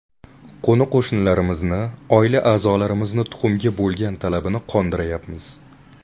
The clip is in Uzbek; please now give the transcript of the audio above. Qo‘ni-qo‘shnilarimizni, oila a’zolarimizni tuxumga bo‘lgan talabini qondiryapmiz.